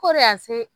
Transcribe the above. Ko de y'a se